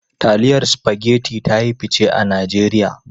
Taliyan Spaghetti ta yi fice a Najeriya.